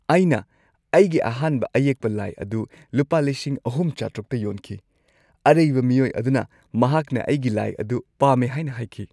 ꯑꯩꯅ ꯑꯩꯒꯤ ꯑꯍꯥꯟꯕ ꯑꯌꯦꯛꯄ ꯂꯥꯏ ꯑꯗꯨ ꯂꯨꯄꯥ ꯳,꯶꯰꯰ꯇ ꯌꯣꯟꯈꯤ꯫ ꯑꯔꯩꯕ ꯃꯤꯑꯣꯏ ꯑꯗꯨꯅ ꯃꯍꯥꯛꯅ ꯑꯩꯒꯤ ꯂꯥꯏ ꯑꯗꯨ ꯄꯥꯝꯃꯦ ꯍꯥꯏꯅ ꯍꯥꯏꯈꯤ꯫